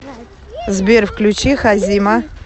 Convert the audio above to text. сбер включи хазима